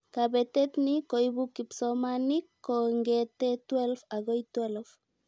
kabetet ni koibu kipsomanink kongetee 12' akoi 12"